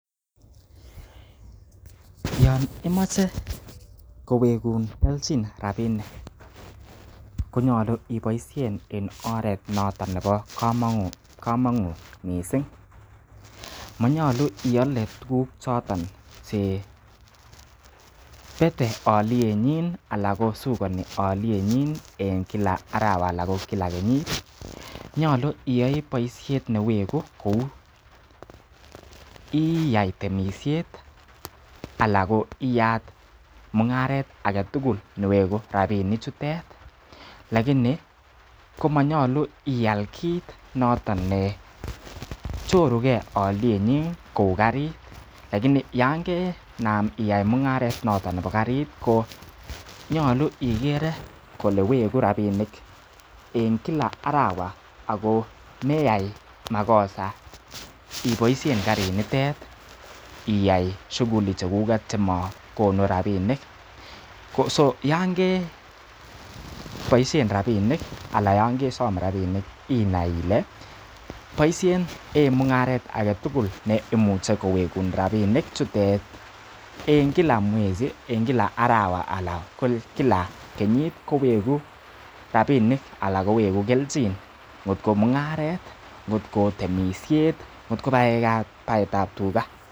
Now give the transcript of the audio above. yon imoche kowegun kelchin rabinik ko nyolu iboishen en oret noton nebo komonut mising monyolu iale tuguk choton chebete olyenyin ana ko shukoni olyenyin en kila arawa anan kila kenyit. Nyolu iyoi boishet newegu kou iyai temisiet ala koiyat mung'aret age tugul newegu rabinik chutet lakini komonyolu ial kiit notet ne choruge olyenyin kou karit. Lakini yan kenam iyai mung'aret noton nebo karit ko nyolu igere kole wegu rabinik en kila arawa ago meyai makosa iboishen karinitet iyai shughuli chekuget chemowegu rabishek. ko so yan keboishen rabiik anan yon kesom rabinik inai ile boisien en mung'aret age tugul neimuche kowegun rabinik chutet en kila mwezi kila arawa anan kila kenyit kowegu rabinik anan kowegu kelchin kotko mung'aret ngotko temiset, ngotko baetab tuga.